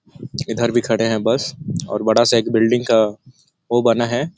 इधर भी खड़े हैं बस और बड़ा- सा एक बिल्डिंग का ओ बना हैं।